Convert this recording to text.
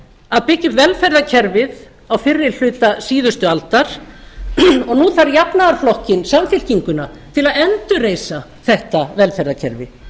að byggja upp velferðarkerfið á fyrri hluta síðustu aldar og nú þarf jafnaðarflokkinn samfylkinguna til að endurreisa þetta velferðarkerfi